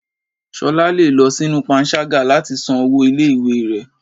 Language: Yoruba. Ṣọlá le lọ sinú pánṣagá latí san ọwọ ìlé-ìwé rẹ.